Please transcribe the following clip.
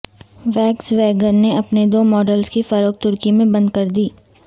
walks vegan نےاپنے دو ماڈلزکی فروخت ترکی میں بند کردی